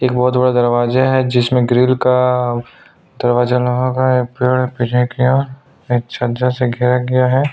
एक बहुत बड़ा दरवाजा है जिसमें ग्रिल का दरवाजा लगा है एक पेड़ पीछे की ओर छज्जा से घेरा गया हैं।